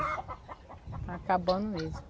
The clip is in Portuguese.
Está acabando mesmo.